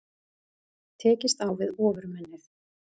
Tekst á við Ofurmennið